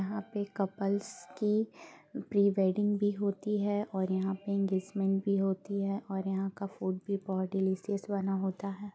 यहाँ पे कपल्स की प्रिवेडिंग भी होती है। और यहाँ पे एन्गैज्मन्ट भी होती है और यहाँ का फूड भी बहुत डिलिशस बना होता है ।